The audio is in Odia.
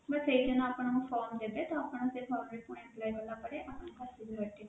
ସେଇ ଦିନ ଆପଣଙ୍କୁ form ଦେବେ ତ ଆପଣ ସେଇ form requirement fill କଲା ପରେ ଆପଣଙ୍କର